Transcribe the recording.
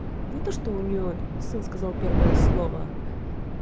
не что то у неё сын сказал первое слово